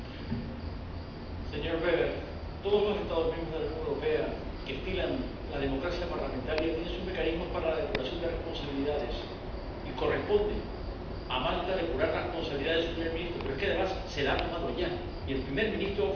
Señor Weber, todos los Estados miembros de la Unión Europea que estilan la democracia parlamentaria tienen sus mecanismos para la depuración de responsabilidades, y corresponde a Malta depurar las responsabilidades de su primer ministro, pero es que además se ha hecho ya, y el primer ministro ha ofrecido su dimisión.